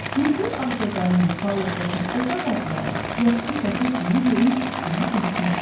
Hündür ağcaqayın, palıd və fıstıq ağacları yaşıl çətir kimi yerin üstünü örtmüşdü.